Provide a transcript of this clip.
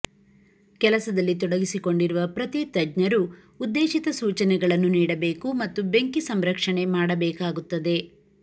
ಕೆಲಸದಲ್ಲಿ ತೊಡಗಿಸಿಕೊಂಡಿರುವ ಪ್ರತಿ ತಜ್ಞರು ಉದ್ದೇಶಿತ ಸೂಚನೆಗಳನ್ನು ನೀಡಬೇಕು ಮತ್ತು ಬೆಂಕಿ ಸಂರಕ್ಷಣೆ ಮಾಡಬೇಕಾಗುತ್ತದೆ